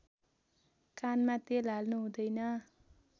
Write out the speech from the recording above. कानमा तेल हाल्नु हुँदैन